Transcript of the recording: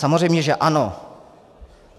Samozřejmě že ano.